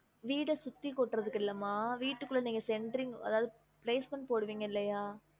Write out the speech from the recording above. வீட சுத்தி கொட்டுறதுக்கு இல்ல மா வீட்டுகுள்ள நீங்க centering அதாவது basement போடுவிங்கள இல்லையா